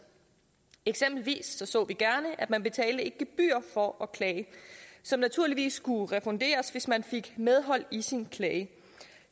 eksempelvis så vi gerne at man betalte et gebyr for at klage som naturligvis skulle refunderes hvis man fik medhold i sin klage